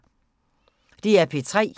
DR P3